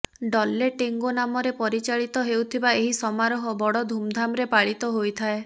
ଡଲ୍ଲେ ଟେଙ୍ଗୋ ନାମରେ ପରିଚାଳିତ ହେଉଥିବା ଏହି ସମାରୋହ ବଡ଼ ଧୂମଧାମରେ ପାଳିତ ହୋଇଥାଏ